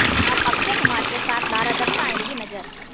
अब अक्षय कुमार के साथ लारा दत्ता आएंगी नज़र